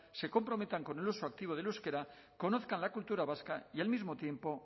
se comprometan con el uso activo del euskera conozcan la cultura vasca y al mismo tiempo